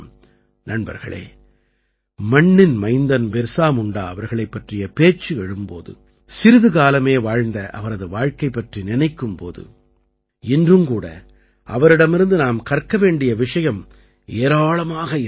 நண்பர்களே மண்ணின் மைந்தன் பிர்சா முண்டா அவர்களைப் பற்றிய பேச்சு எழும் போது சிறிது காலமே வாழ்ந்த அவரது வாழ்க்கை பற்றி நினைக்கும் போது இன்றும் கூட அவரிடமிருந்து நாம் கற்க வேண்டிய விஷயம் ஏராளமாக இருக்கிறது